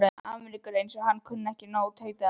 Ameríku, eins og hann kunni ekki nóg, tautaði afi.